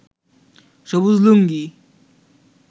সবুজ লুঙ্গি